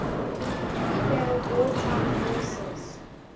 female wartime nurses